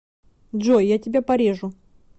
джой я тебя порежу